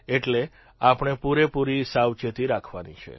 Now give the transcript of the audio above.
એટલે આપણે પૂરેપૂરી સાવચેતી રાખવાની છે